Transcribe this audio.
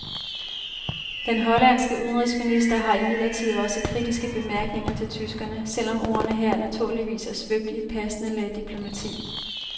Den hollandske udenrigsminister har imidlertid også kritiske bemærkninger til tyskerne, selv om ordene her naturligvis er svøbt i et passende lag diplomati.